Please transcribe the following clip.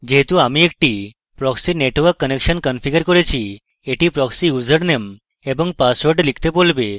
যেহেতু আমি একটি proxy network connection configured করেছি এটি proxy ইউজারনেম এবং পাসওয়ার্ড লিখতে বলবে